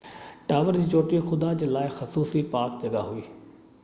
tower جي چوٽي خدا جي لاءِ خصوصي پاڪ جڳهہ هئي